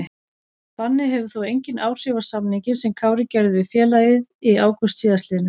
Bannið hefur þó engin áhrif á samninginn sem Kári gerði við félagið í ágúst síðastliðnum.